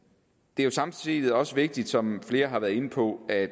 det er samtidig også vigtigt som flere har været inde på at